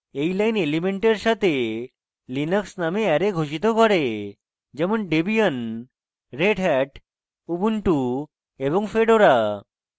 এই line elements সাথে linux named array ঘোষিত করে যেমন debian redhat ubuntu এবং fedora